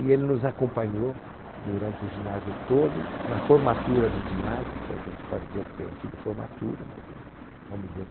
E ele nos acompanhou durante o ginásio todo, na formatura do ginásio, se é que a gente pode dizer que tenha sido formatura, mas eh, vamos dizer.